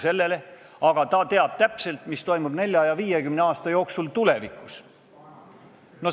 Samas ta teab täpselt, mis toimub 40 ja 50 aasta jooksul tulevikus.